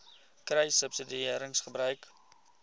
kruissubsidiëringgebruik